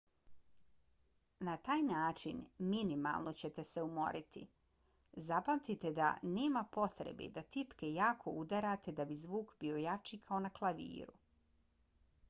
na taj način minimalno ćete se umoriti. zapamtite da nema potrebe da tipke jako udarate da bi zvuk bio jači kao na klaviru